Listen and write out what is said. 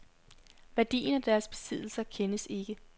Værdien af deres besiddelser kendes ikke.